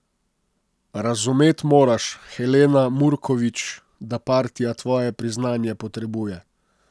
Razumet moraš, Helena Murkovič, da partija tvoje priznanje potrebuje.